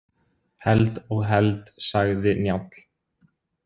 Held og held, sagði Njáll.